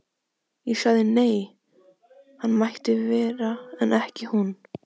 Ég sagði nei, hann mætti vera en ekki hún.